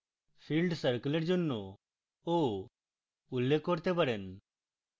filled circle এর জন্য o উল্লেখ করতে পারেন